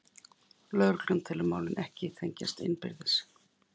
Lögregla telur málin ekki tengjast innbyrðis